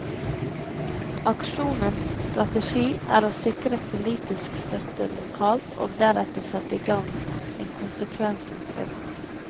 Aksjonens strategi er å sikre politisk støtte lokalt og deretter sette i gang en konsekvensutredning.